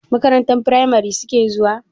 Makarantar firamari suke zuwa?